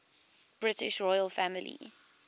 british royal family